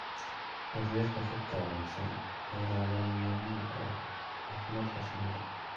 Daryeelka rugta wanaagsan ayaa lagama maarmaan u ah caafimaadka shinnida.